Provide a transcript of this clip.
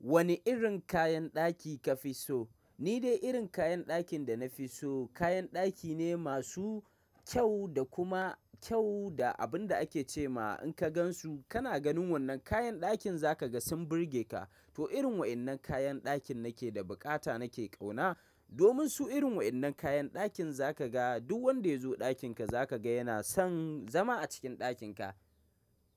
Wani irin kayan ɗaki ka fi so? Ni dai irin kayan ɗakin da na fi so, kayan ɗaki ne masu kyau da kuma kyau da abun da ake ce ma in ka gan su kana ganin wannan kayan ɗakin za ka ga sun burge ka. To irin waɗannan kayan ɗakin nake da bukata nake ƙauna. Domin su irin waɗannan kayan ɗakin za ka ga duk wanda ya zo ɗakin ka za ka ga yana son zama a cikin ɗakin ka.